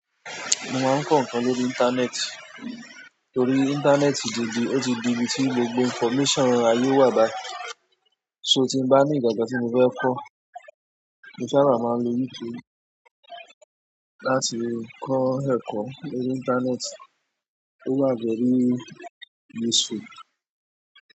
Mo máa ń kọ́ nǹkan lórí íńtánẹ́ẹ̀tì torí íńtánẹ́ẹ̀tì ti di, ó ti di ibi tí gbogbo information aye wà bayi. So tí mo bá ní nkankan tí mo fẹ́ kọ́, mo sábà máa ń lo YouTube láti kọ́ ẹ̀kọ́ lórí íńtánẹ́ẹ̀tì tó wa very useful.